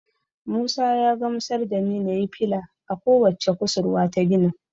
Musa ya gamsar da ni nayi fila a ko wacce kusurwa ta ginin.